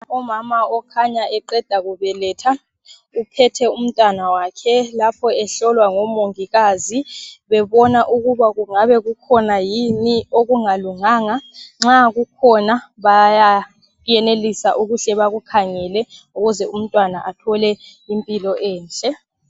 Umama okhanya eqeda kubeletha ,uphethe umntwanawakhe .Lapho ehlolwa ngomongikazi bebona ukuba kungabe kukhona yini okungalunganga. Nxa kukhona baya yenelisa ukuhle bakukhangele ukuze umntwana athole impilo enhle.